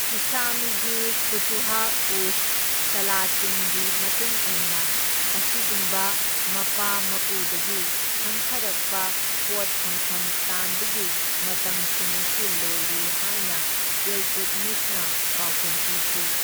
ꯏꯁꯥꯃꯤꯒꯤ ꯐꯨꯇꯨꯍ ꯎꯁ ꯁꯥꯂꯥꯇꯤꯟꯒꯤ ꯃꯇꯨꯡ ꯏꯟꯅ ꯑꯁꯤꯒꯨꯝꯕ ꯃꯄꯥ ꯃꯄꯨꯗꯒꯤ ꯊꯪꯊꯔꯛꯄ ꯄꯣꯠ ꯐꯪꯐꯝ ꯇꯥꯟꯕꯒꯤ ꯃꯇꯝꯁꯤꯡ ꯑꯁꯤ ꯂꯣꯏꯔꯦ ꯍꯥꯏꯅ ꯏꯜꯇꯨꯠꯃꯤꯁꯅ ꯄꯥꯎꯈꯨꯝ ꯄꯤꯈꯤ꯫